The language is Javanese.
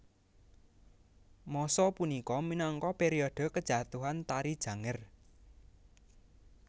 Masa punika minangka periode kejatuhan Tari Janger